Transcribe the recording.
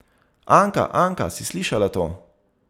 Anka, Anka, si slišala to!